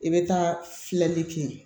I bɛ taa filɛli kɛ